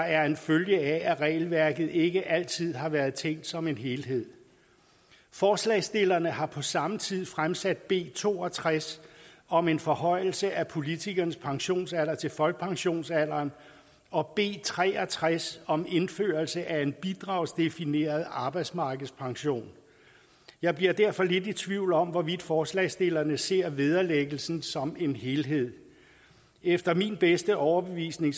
er en følge af at regelværket ikke altid har været tænkt som en helhed forslagsstillerne har på samme tid fremsat b to og tres om en forhøjelse af politikernes pensionsalder til folkepensionsalderen og b tre og tres om indførelse af en bidragsdefineret arbejdsmarkedspension jeg bliver derfor lidt i tvivl om hvorvidt forslagsstillerne ser vederlæggelsen som en helhed efter min bedste overbevisning